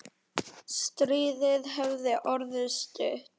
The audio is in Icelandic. Stríðið hefði orðið stutt.